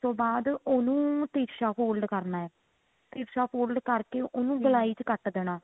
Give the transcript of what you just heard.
ਤੋਂ ਬਾਅਦ ਉਹਨੂੰ ਤਿਰਸ਼ਾ fold ਕਰਨਾ ਤਿਰਸ਼ਾ fold ਕਰਕੇ ਉਹਨੂੰ ਗੋਲਾਈ ਕੱਟ ਦੇਣਾ